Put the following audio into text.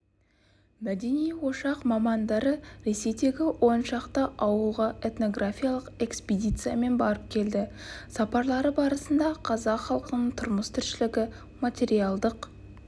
мәдени ошақ мамандары ресейдегі оншақты ауылға этнографиялық экспедициямен барып келді сапарлары барысында қазақ халқының тұрмыс-тіршілігі материалдық